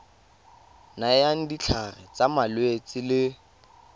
nayang ditlhare tsa malwetse le